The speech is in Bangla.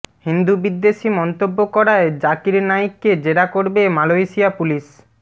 হিন্দু বিদ্বেষী মন্তব্য করায় জাকির নাইককে জেরা করবে মালয়েশিয়া পুলিস